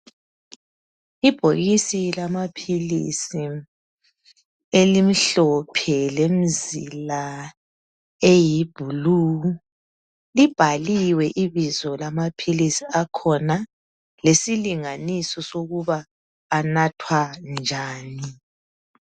Ibhokisi lamaphilisi elimhlophe lemizila eyiblue libhaliwe ibizo lamaphilisi akhona lesilinganiso sokuba anathwa njani.